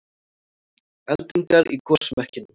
Eldingar í gosmekkinum